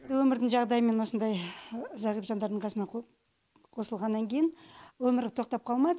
енді өмірдің жағдайымен осындай зағип жандардың қасына қосылғаннан кейін өмір тоқтап қалмайды